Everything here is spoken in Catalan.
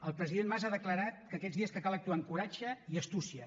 el president mas ha declarat que aquests dies cal actuar amb coratge i astúcia